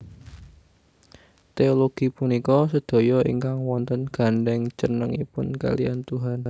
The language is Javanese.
Téologi punika sedaya ingkang wonten gandheng cenengipun kaliyan Tuhan